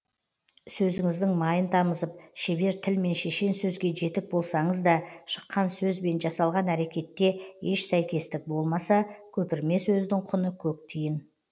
сөзіңіздің майын тамызып шебер тіл мен шешен сөзге жетік болсаңыз да шыққан сөз бен жасалған әрекетте еш сәйкестік болмаса көпірме сөздің құны көк тиын